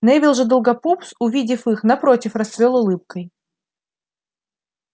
невилл же долгопупс увидев их напротив расцвёл улыбкой